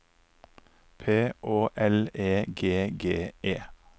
P Å L E G G E